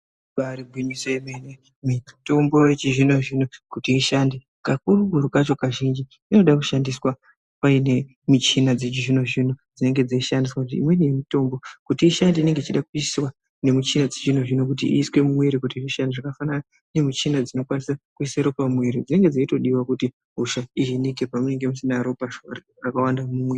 Ibari gwinyiso yemene mitombo yechizvino-zvino kuti ishande kakurutu kacho kazhinji inode kushandiswa paine michina dzechizvino-zvino dzinenge dzeishandiswa. Kuti imweni yemitombo kuti ishande inonga ichida kuiswa nemichina dzechizvino-zvino kuti iiswe mumwiri kuti ishande zvakafanana nemichina dzinokwanise kuisa ropa mumwiri. Dzinenge dzeitodiva kuti hosha ihinike pamweni munenge musina ropa rakawanda mumwiri.